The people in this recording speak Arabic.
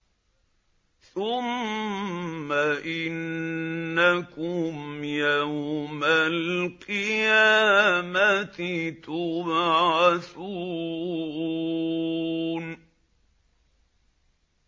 ثُمَّ إِنَّكُمْ يَوْمَ الْقِيَامَةِ تُبْعَثُونَ